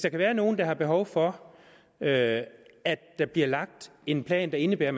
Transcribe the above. er nogle der har behov for at der bliver lagt en plan der indebærer at